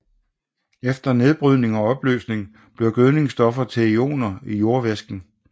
Efter nedbrydning og opløsning bliver gødningsstofferne til ioner i jordvæsken